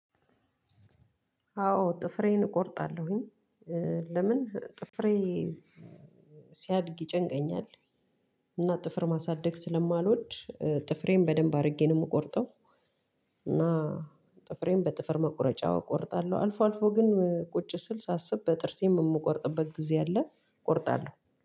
አዎ ጥፍሬን እቆርጣለሁኝ። ለምን ጥፍሬ ሲያድግ ይጨንቀኛል። እና ጥፍር ማሳደግ ስለማልወድ ጥፍሬን በደንብ አድርጌ ነው የምቆርጠው። እና ጥፍሬን በጥፍር መቁረጫ እቆርጣለሁ አልፎ አልፎ ግን ቁጭ ስል ሳስብ በጥርሴም የምቆርጥበት ጊዜ አለ። ቆርጣለሁ